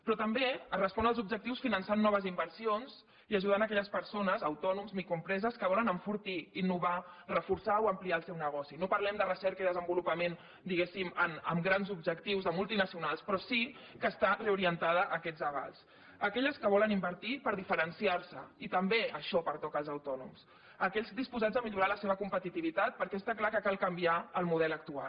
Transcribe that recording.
però també es respon als objectius finançant noves inversions i ajudant aquelles persones autònoms microempreses que volen enfortir innovar reforçar o ampliar el seu negoci no parlem de recerca i desenvolupament diguéssim amb grans objectius de multinacionals però sí que està reorientada a aquests avals aquelles que volen invertir per diferenciar se i també això pertoca als autònoms aquells disposats a millorar la seva competitivitat perquè està clar que cal canviar el model actual